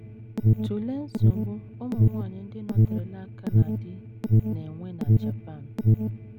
Tụlee nsogbu ụmụ nwanyị ndị nọterela aka na di na - enwe na Japan.